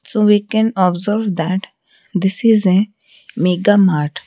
so we can observe that this is a mega mart.